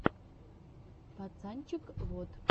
пацанчег вот